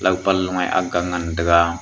pan lu a aga ngan taiga.